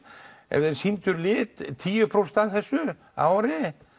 ef þeir sýndu lit tíu prósent af þessu á ári